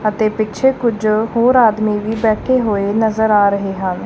ਅਤੇ ਪਿੱਛੇ ਕੁਝ ਹੋਰ ਆਦਮੀ ਵੀ ਬੈਠੇ ਹੋਏ ਨਜ਼ਰ ਆ ਰਹੇ ਹਨ।